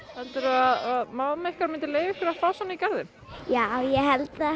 helduru að mamma ykkar myndi leyfa ykkur að fá svona í garðinn já ég held það